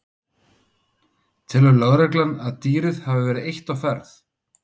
Telur lögregla að dýrið hafi verið eitt á ferð?